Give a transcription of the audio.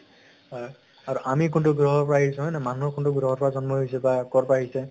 হয় । আৰু আমি কোনতো গ্ৰহৰ পৰা আহিছো, হয় নাই । মানুহ কোনতো গ্ৰহৰ পৰা জ্ন্ম হৈছে বা কʼৰ পৰা আহিছে